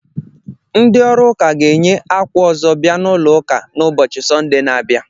Ndị ọrụ ụka ga enyi ákwà ọzọ bia n'ụlọ uka n'ubochi Sọnde na-abịa